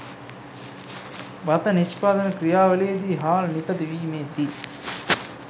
බත නිෂ්පාදන ක්‍රියාවලියේදී හාල් නිපදවීමේ දී